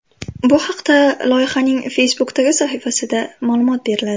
Bu haqda loyihaning Facebook’dagi sahifasida ma’lumot beriladi .